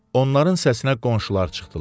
Onların səsinə qonşular çıxdılar.